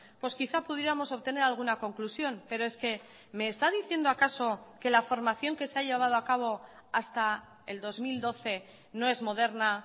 pues quizá pudiéramos obtener alguna conclusión pero es que me está diciendo acaso que la formación que se ha llevado acabo hasta el dos mil doce no es moderna